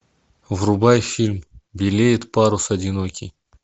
врубай фильм белеет парус одинокий